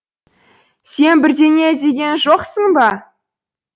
сен бірдеңе деген жоқсың ба